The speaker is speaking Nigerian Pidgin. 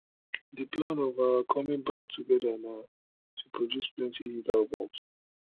di plan of our coming back together na to produce plenty hit albums